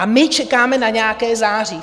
A my čekáme na nějaké září?